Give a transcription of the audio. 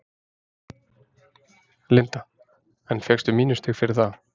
Linda: En fékkstu mínusstig fyrir það?